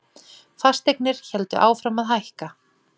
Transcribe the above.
Fasteignir héldu áfram að hækka.